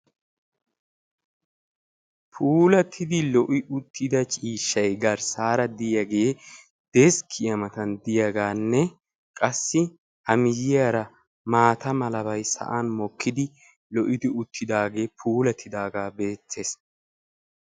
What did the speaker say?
Puulattidi lo'i uttida ciishshay garssaara diyagee deskkiya matan diyagaanne qassi A miyyiyara maata malabay sa'an mokkidi lo'idi uttidaagee puulatti uttidaagee beettees.